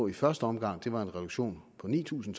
i første omgang var en reduktion på ni tusind